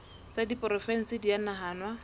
tsa diporofensi di a nahanwa